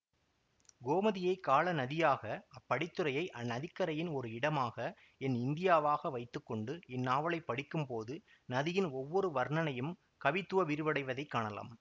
கோமதியை காலநதியாக அப் படித்துறையை அந்நதிக்கரையின் ஒரு இடமாக என் இந்தியாவாக வைத்து கொண்டு இந்நாவலைப்படிக்கும்போது நதியின் ஒவ்வொரு வர்ணனையும் கவித்துவ விரிவடைவதைக் காணலாம்